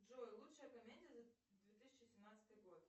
джой лучшая комедия за две тысячи семнадцатый год